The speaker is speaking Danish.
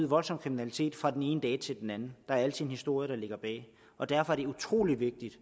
voldsom kriminalitet fra den ene dag til den anden der er altid en historie som ligger bag og derfor er det utrolig vigtigt